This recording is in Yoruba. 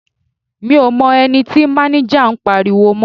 Mi ò mọ ẹni tí máníjà ń pariwo mọ́.